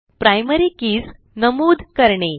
primary keys नमूद करणे